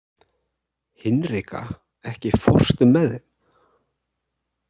Hinrika, ekki fórstu með þeim?